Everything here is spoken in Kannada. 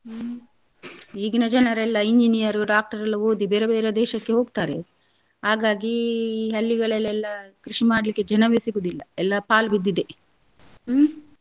ಹ್ಮ್ ಈಗೀನ ಜನರೆಲ್ಲ engineer doctor ಎಲ್ಲ ಓದಿ ಬೇರೆ ಬೇರೆ ದೇಶಕ್ಕೆ ಹೋಗ್ತಾರೆ ಹಾಗಾಗಿ ಈ ಹಳ್ಳಿಗಳಲೆಲ್ಲ ಕೃಷಿ ಮಾಡ್ಲಿಕ್ಕೆ ಜನವೇ ಸಿಗುದಿಲ್ಲ ಎಲ್ಲಾ ಪಾಲ್ ಬಿದ್ದಿದೆ ಹ್ಮ್.